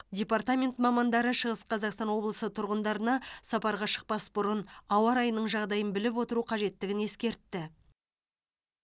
департамент мамандары шығыс қазақстан облысының тұрғындарына сапарға шықпас бұрын ауа райының жағдайын біліп отыру қажеттігін ескертті